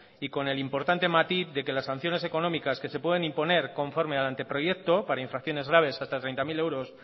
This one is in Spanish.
y con el importante matiz de que las sanciones económicas que se pueden imponer conforme al anteproyecto para infracciones graves hasta treinta mil euros